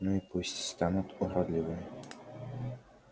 ну и пусть станут уродливыми